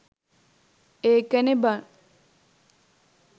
එකනේ බන්